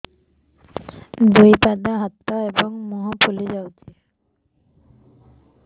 ଦୁଇ ପାଦ ହାତ ଏବଂ ମୁହଁ ଫୁଲି ଯାଉଛି